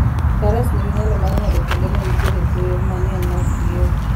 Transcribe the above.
Faras nigi nyalo mar ng'ado kuonde ma nitie kuoyo mang'eny maok giol.